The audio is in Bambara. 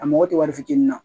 A mako tɛ wari fitiinin na